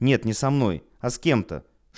нет не со мной а с кем-то